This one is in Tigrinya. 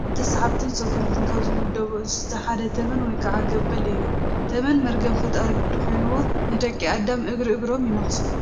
ኣብ ተሳሓብትን ሰጎምትን ካብ ዝምደቡ እንስሳት ሓደ ተመን ወይ ከዓ ገበል እዩ፡፡ ተመን መርገም ፈጣሪ ግዲ ኾይኑዎ ንደቂ ኣዳም እግርእግሮም የነኽሶም፡፡